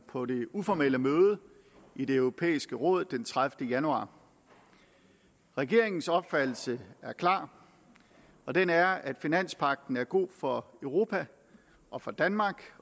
på det uformelle møde i det europæiske råd den tredivete januar regeringens opfattelse er klar og den er at finanspagten er god for europa og for danmark